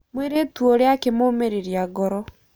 Mwĩiritu ũrĩa akĩmũmĩrĩria ngoro.